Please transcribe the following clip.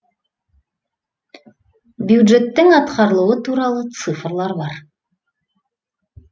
бюджеттің атқарылуы туралы цифрлар бар